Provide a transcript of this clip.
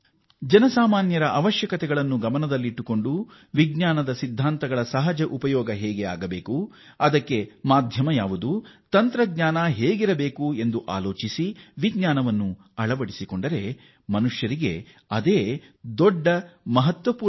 ಜನಸಾಮಾನ್ಯರ ಅವಶ್ಯಕತೆಗಳನ್ನು ಗಮನದಲ್ಲಿಟ್ಟುಕೊಂಡು ವಿಜ್ಞಾನದ ಸಿದ್ಧಾಂತಗಳ ಸಹಜ ಉಪಯೋಗ ಹೇಗೆ ಆಗಬೇಕು ಅದಕ್ಕೆ ಮಾಧ್ಯಮ ಯಾವುದು ತಂತ್ರಜ್ಞಾನ ಹೇಗಿರಬೇಕು ಎಂದು ಆಲೋಚಿಸಿ ವಿಜ್ಞಾನವನ್ನು ಅಳವಡಿಸಿಕೊಂಡರೆ ಅದುವೇ ಮಾನವತೆಗೆ ದೊಡ್ಡ ಕೊಡುಗೆಯಾಗುತ್ತದೆ